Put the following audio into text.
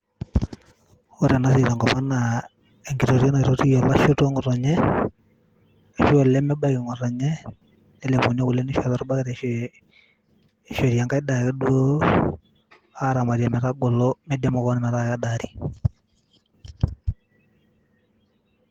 Ore ena siai tenkop ang' naa enkitotio naitotii olashe otua ng'otonye ashu aa olemebaiki ng'otonye, nlepuni ake kule nishori arashu kulie daiki ake aaramt metagolo metaa kedaari.